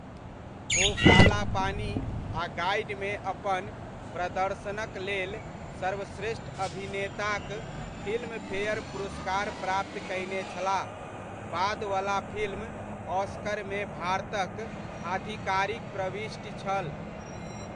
ओ 'काला पानी' आ 'गाइड'मे अपन प्रदर्शनक लेल सर्वश्रेष्ठ अभिनेताक फिल्म फेयर पुरस्कार प्राप्त कयने छलाह, बाद वला फिल्म ऑस्करमे भारतक आधिकारिक प्रविष्टि छल।